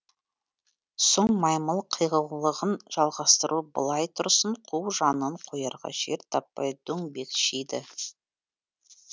сұң маймыл қиғылығын жалғастыру былай тұрсын қу жанын қоярға жер таппай дөңбекшиді